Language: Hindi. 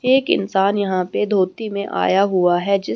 एक इंसान यहां पे धोती में आया हुआ है जिस--